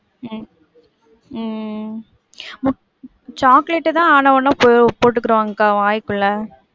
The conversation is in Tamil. உம் உம் சாக்லேட் தான் ஆனா உணா போட்டுகிடுவாங்க அக்கா வாய்க்குள்ள.